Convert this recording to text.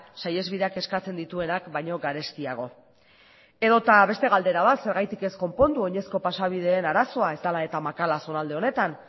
saihesbideak eskatzen dituenak baino garestiago edota beste galdera bat zergatik ez konpondu oinezko pasabideen arazoa ez dela eta makala zonalde honetan